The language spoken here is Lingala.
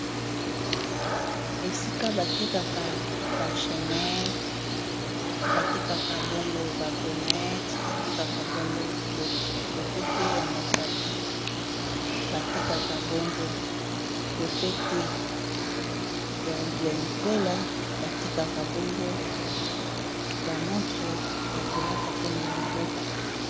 esika batekaka bachenete batekaka bongo bagomete batekaka bango lopete ya mosapi batekaka bongo lopete ya likwela batekaka bongo bamontre ya kolata mpona liboko